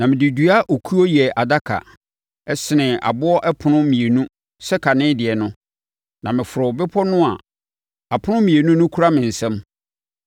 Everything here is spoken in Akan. Na mede dua okuo yɛɛ adaka, senee aboɔ ɛpono mmienu sɛ kane deɛ no, na meforoo bepɔ no a apono mmienu no kura me nsam.